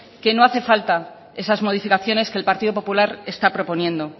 que no hace falta esas modificaciones que el partido popular está proponiendo